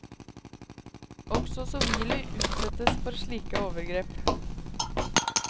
Også sivile utsettes for slike overgrep.